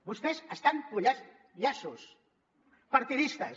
vostès estan posant llaços partidistes